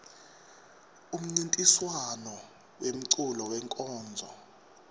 umncintiswam wemeculo wenkonzo